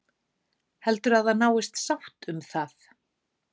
Heldurðu að það náist sátt um það?